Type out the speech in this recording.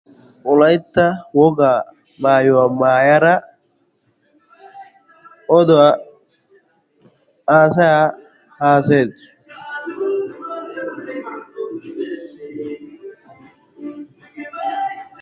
Wolaytta wogaa maayuwaa maayara oduwaa aasayaa haasayetus.